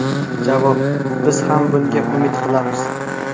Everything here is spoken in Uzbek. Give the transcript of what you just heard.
Javob: Biz ham bunga umid qilamiz.